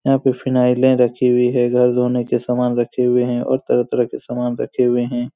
यहाँ पे फिनाएले रखी हुई है घर धोने के सामन रखे हुए है और तरह-तरह के सामान रखे हुए है।